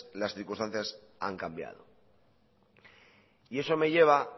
las circunstancias han cambiado eso me lleva a